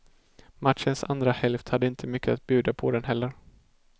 Matchens andra hälft hade inte mycket att bjuda på den heller.